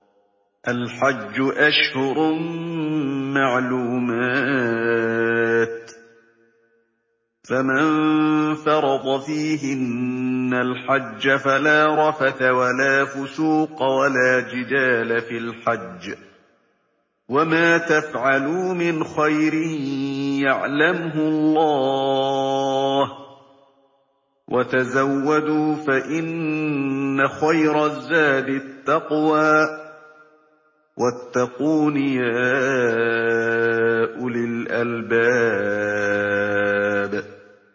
الْحَجُّ أَشْهُرٌ مَّعْلُومَاتٌ ۚ فَمَن فَرَضَ فِيهِنَّ الْحَجَّ فَلَا رَفَثَ وَلَا فُسُوقَ وَلَا جِدَالَ فِي الْحَجِّ ۗ وَمَا تَفْعَلُوا مِنْ خَيْرٍ يَعْلَمْهُ اللَّهُ ۗ وَتَزَوَّدُوا فَإِنَّ خَيْرَ الزَّادِ التَّقْوَىٰ ۚ وَاتَّقُونِ يَا أُولِي الْأَلْبَابِ